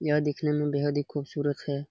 यह दिखने में बहुत खूबसूरत है।